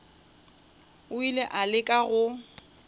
o ile a leka go